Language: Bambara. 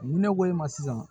Ni ne ko i ma sisan